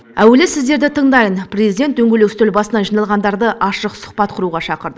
әуелі сіздерді тыңдайын президент дөңгелек үстел басына жиналғандарды ашық сұхбат құруға шақырды